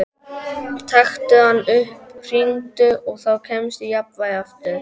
Taktu hann upp, hringdu, og þá kemstu í jafnvægi aftur.